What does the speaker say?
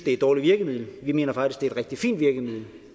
er et dårligt virkemiddel vi mener faktisk det er et rigtig fint virkemiddel